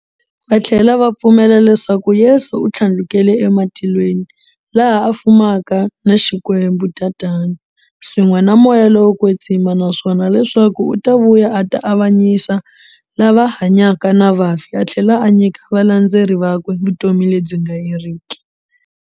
Va thlela va pfumela leswaku Yesu u thlandlukele ematilweni, laha a fumaka na XikwembuTatana, swin'we na Moya lowo kwetsima, naswona leswaku u ta vuya a ta avanyisa lava hanyaka na vafi a thlela a nyika valandzeri vakwe vutomi lebyi nga heriki.